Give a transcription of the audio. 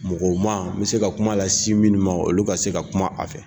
Mɔgɔw n bɛ se ka kuma lasin minnu ma olu ka se ka kuma a fɛ